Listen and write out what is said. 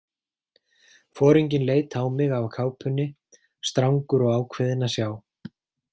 Foringinn leit á mig af kápunni, strangur og ákveðinn að sjá.